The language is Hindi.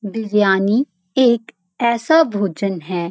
बिरयानी एक ऐसा भोजन है --